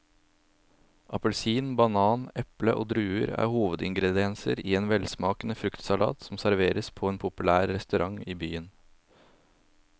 Appelsin, banan, eple og druer er hovedingredienser i en velsmakende fruktsalat som serveres på en populær restaurant i byen.